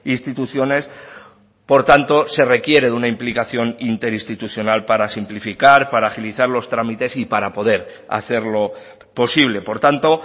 instituciones por tanto se requiere de una implicación interinstitucional para simplificar para agilizar los trámites y para poder hacerlo posible por tanto